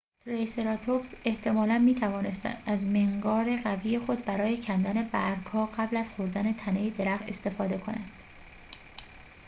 تریسراتوپس احتمالاً می‌توانسته از منقار قوی خود برای کندن برگ‌ها قبل از خوردن تنه درخت استفاده کند